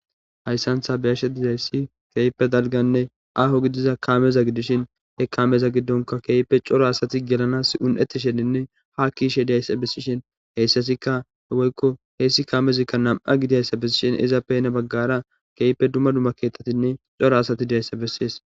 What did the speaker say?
hayssan tha be7ashe didayssi keeype dalganne aho gidiza kaameza gidishin he kaameza giddonka keype coro asati gelanas un7eti sheninne ha kiishe dayssa bessishin heyssasikka he woykko heyssi kaamezikka nam7a gidiayssa bessishin izappeyna baggara keype dumma dumma keetatinne coro asati dayssa bessees